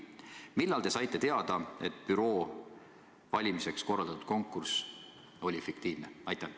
Millal te saite teada, et büroo valimiseks korraldatud konkurss oli fiktiivne?